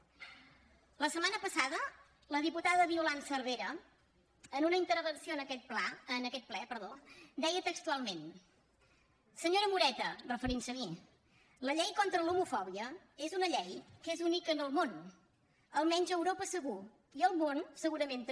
la setmana passada la diputada violant cervera en una intervenció en aquest ple deia textualment senyora moreta referint se a mi la llei contra l’homofòbia és una llei que és única en el món almenys a europa segur i al món segurament també